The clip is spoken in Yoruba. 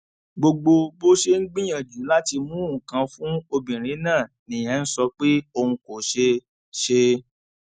gbogbo bó ṣe ń gbìyànjú láti mú nǹkan fún obìnrin náà nìyẹn ń sọ pé òun kò ṣe ṣe